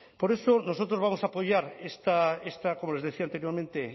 por eso nosotros vamos a apoyar esta como les decía anteriormente